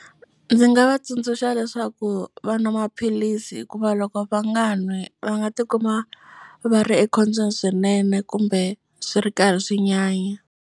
Ndzi nga va tsundzuxa leswaku va nwa maphilisi hikuva loko va nga n'wi va nga tikuma va ri ekhombyeni swinene kumbe swi ri karhi swi nyanya.